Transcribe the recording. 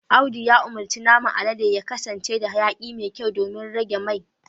Audu ya umurci naman alade ya kasance da hayaki mai kyau domin a rage mai